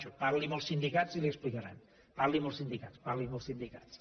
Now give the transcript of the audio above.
cho parli amb els sindicats i li ho explicaran parli amb els sindicats parli amb els sindicats